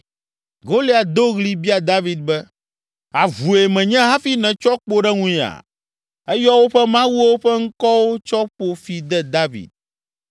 Goliat do ɣli bia David be, “Avue menye hafi nètsɔ kpo ɖe ŋunyea?” Eyɔ woƒe mawuwo ƒe ŋkɔwo tsɔ ƒo fi de David.